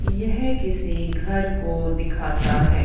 यह किसी घर को दिखाता है।